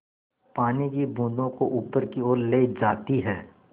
पानी की बूँदों को ऊपर की ओर ले जाती है